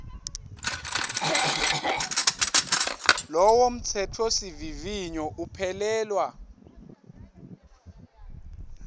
lowo mtsetfosivivinyo uphelelwa